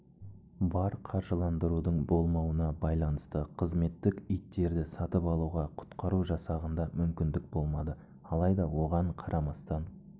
бар қаржыландырудың болмауына байланысты қызметтік иттерді сатып алуға құтқару жасағында мүмкіндік болмады алайда оған қарамастан